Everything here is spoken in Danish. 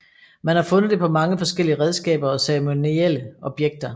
Man har fundet det på mange forskellige redskaber og ceremonielle objekter